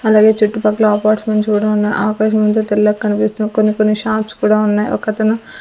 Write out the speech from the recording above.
అలాగే చుట్టుపక్కల అపార్ట్మెంట్స్ కూడా ఉన్నాయి ఆకాశమంత తెల్లగా కనిపిస్తూ కొన్ని కొన్ని షాప్స్ కూడా ఉన్నాయి. ఒకతను --